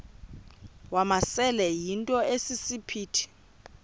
wamasele yinto esisiphithi